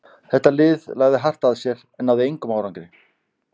Þetta lið lagði hart að sér en náði engum árangri.